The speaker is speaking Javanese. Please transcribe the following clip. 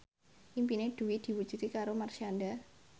impine Dewi diwujudke karo Marshanda